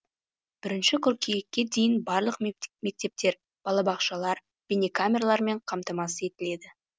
бірінші қыркүйекке дейін барлық мектептер балабақшалар бейнекамералармен қамтамасыз етіледі